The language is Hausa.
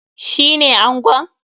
Shi ne angon?